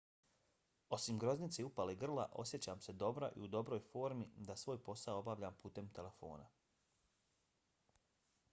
osim groznice i upale grla osjećam se dobro i u dobroj formi da svoj posao obavljam putem telefona.